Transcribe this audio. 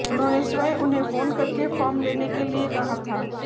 उन्होंने स्वयं उन्हें फोन करके फॉर्म लेने के लिए कहा था